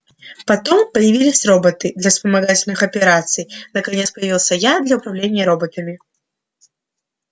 потом появились роботы для вспомогательных операций наконец появился я для управления роботами